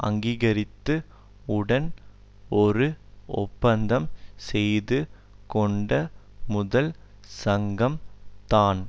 அங்கீகரித்து உடன் ஒரு ஒப்பந்தம் செய்து கொண்ட முதல் சங்கம் தான்